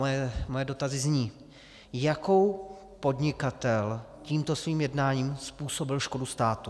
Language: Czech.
Moje dotazy zní: Jakou podnikatel tímto svým jednáním způsobil škodu státu?